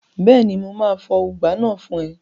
Bẹ́ẹ̀ni, mo máa fọ ùgbá náà fún ẹ